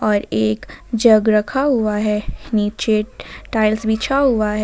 और एक जग रखा हुआ है नीचे टाइल्स बिछा हुआ है।